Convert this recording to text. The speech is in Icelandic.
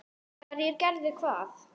Hverjir gerðu hvað?